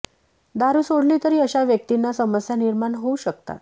दारू सोडली तरी अशा व्यक्तींना समस्या निर्माण होऊ शकतात